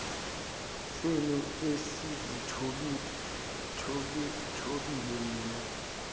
senu esizithobile nina